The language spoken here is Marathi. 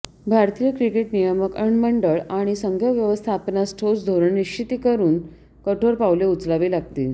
भारतीय क्रिकेट नियामक मंडळ आणि संघव्यवस्थापनास ठोस धोरणनिश्चिती करून कठोर पावले उचलावी लागतील